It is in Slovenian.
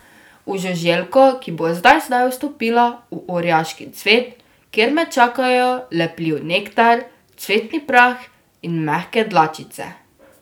V žuželko, ki bo zdaj zdaj vstopila v orjaški cvet, kjer me čakajo lepljiv nektar, cvetni prah in mehke dlačice.